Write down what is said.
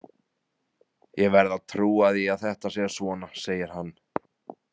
Ég verð að trúa því að þetta sé svona, segir hann.